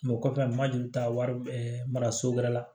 o kɔfɛ ma deli ka wari mara so wɛrɛ la